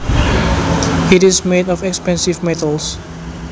It is made of expensive metals